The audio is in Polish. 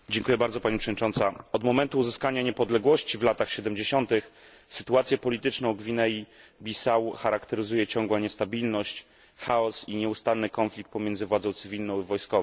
Pani Przewodnicząca! Od momentu uzyskania niepodległości w latach 70. sytuację polityczną Gwinei Bissau charakteryzuje ciągła niestabilność, chaos i nieustanny konflikt pomiędzy władzą cywilną a wojskową.